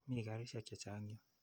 Mii karisyek che chang' yu.